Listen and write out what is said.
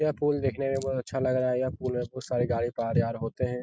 यह पूल देखने में बहुत अच्छा लग रहा है। यह पूल सारी गाड़ी पार-आर होते हैं।